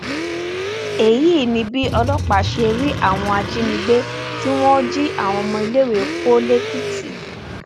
èyí ni bí ọlọpàá ṣe rí àwọn ajínigbé tí wọn jí àwọn ọmọ iléèwé kó lẹkìtì